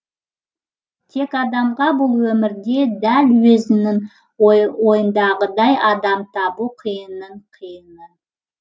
тек адамға бұл өмірде дәл өзінің ойындағыдай адам табу қиынның қиыны